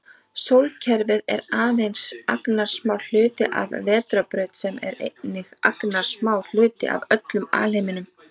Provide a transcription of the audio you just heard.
Sólkerfi er aðeins agnarsmár hluti af vetrarbraut sem er einnig agnarsmár hluti af öllum alheiminum.